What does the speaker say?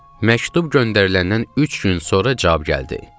Məktub göndəriləndən üç gün sonra cavab gəldi.